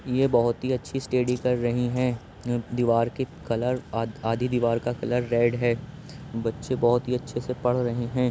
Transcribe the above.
ये बोहोत ही अच्छी स्टेडी कर रही हैं। य दीवार के कलर आद आदि दीवार का कलर रेड है। बच्चे बोहोत ही अच्छे से पढ़ रहे हैं।